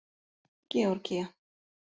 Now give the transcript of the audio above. Georgía